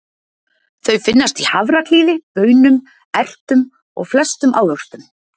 Þau finnast í hafraklíði, baunum, ertum og flestum ávöxtum.